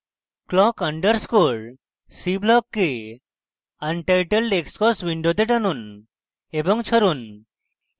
clock underscore c block untitled xcos window টানুন এবং ছাড়ুন